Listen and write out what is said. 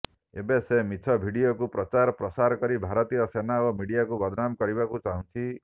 ଏବେ ସେ ମିଛ ଭିଡିଓକୁ ପ୍ରଚାର ପ୍ରସାର କରି ଭାରତୀୟ ସେନା ଓ ମିଡିଆକୁ ବଦନାମ କରିବାକୁ ଚାହୁଁଛି